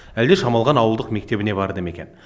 әлде шамалған ауылдық мектебіне барды мекен